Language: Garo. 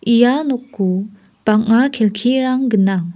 ia noko bang·a kelkirang gnang.